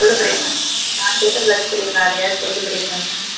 சொல்லு பிரியங்கா நான் அதையாவது சொல்லு பிரியங்கா.